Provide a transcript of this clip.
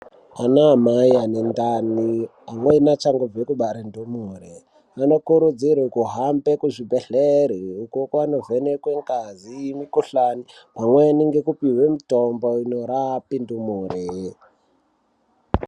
Ana mai ane ndani amweni achangobva kubarwa ndumure anokurudzirwa kuhambe kuzvibhedhlera uko kwanovhenengwa ngazi yemikuhlani pamweni kupihwe mitombo inorapa ndumure.